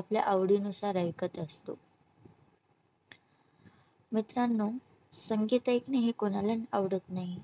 आपल्या आवडी नुसार ऐकत असतो मित्रांनो संगीत हे कोणाला आवडत नाही